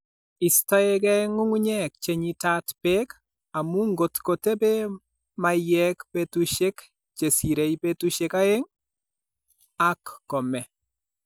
Istoegei ng'ung'unyek che nyitaat peek, amu ngot kotebee maiyek peetuusyek che siirei peetuusyek aeng', ak kome.